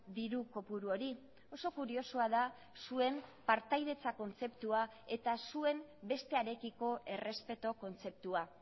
diru kopuru hori oso kuriosoa da zuen partaidetza kontzeptua eta zuen bestearekiko errespetu kontzeptua